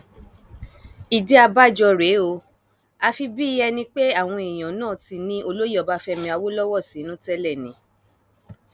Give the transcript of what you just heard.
ìdí abájọ rèé o àfi bíi ẹni pé àwọn èèyàn náà ti ní olóyè ọbáfẹmi awolowo sínú tẹlẹ ni